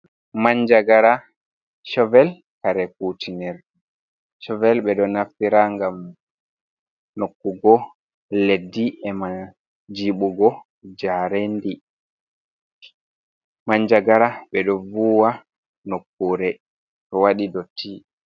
"Manjagara shovel" kare kutiner ɗe shovel ɓeɗo naftira ngam nokkugo leddi ema jibugo jarendi manjagara ɓeɗo vuwa nokkure to waɗi dotti.